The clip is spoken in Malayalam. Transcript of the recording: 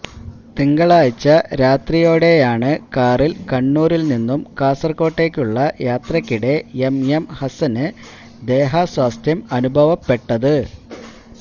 തിങ്കളാഴ്ച രാത്രിയോടെയാണ് കാറില് കണ്ണൂരില് നിന്നും കാസര്കോട്ടേക്കുള്ള യാത്രയ്ക്കിടെ എം എം ഹസന് ദേഹാസ്വാസ്ഥ്യം അനുഭവപ്പെട്ടത്